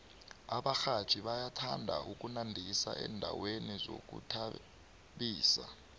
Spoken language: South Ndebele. abarhatjhi bayathanda ukunandisa endaweni zokuzithabisa